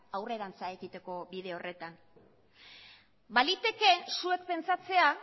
aurrerantz egiteko bide horretan baliteke zuek pentsatzea